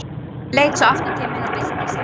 Leit svo aftur til mín og byrsti sig.